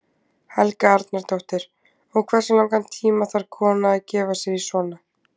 Helga Arnardóttir: Og hversu langan tíma þarf kona að gefa sér í svona?